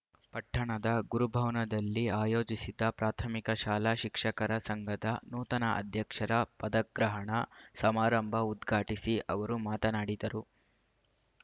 ಪಟ್ಟಣದ ಗುರುಭವನದಲ್ಲಿ ಆಯೋಜಿಸಿದ್ದ ಪ್ರಾಥಮಿಕ ಶಾಲಾ ಶಿಕ್ಷಕರ ಸಂಘದ ನೂತನ ಅಧ್ಯಕ್ಷರ ಪದಗ್ರಹಣ ಸಮಾರಂಭ ಉದ್ಘಾಟಿಸಿ ಅವರು ಮಾತನಾಡಿದರು